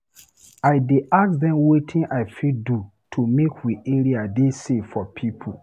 I dey ask dem wetin I fit do make we area dey safe for pipo.